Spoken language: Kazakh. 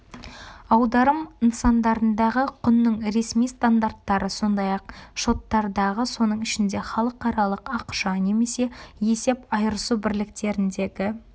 аударым нысандарындағы құнның ресми стандарттары сондай-ақ шоттардағы соның ішінде халықаралық ақша немесе есеп айырысу бірліктеріндегі